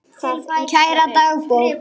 Kæra dagbók!